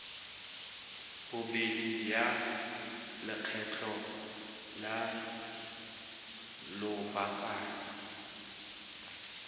bobedi ya lekgetho la lobakanyana